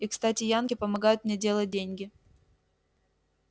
и кстати янки помогают мне делать деньги